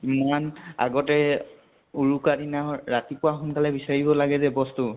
ইমান আগতে উৰুকা উৰিকা দিনা ৰাতিপুৱা সোনকালে বিছাৰিব লাগে যে ব্স্তু